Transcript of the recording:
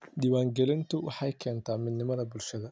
Diiwaangelintu waxay keentaa midnimada bulshada.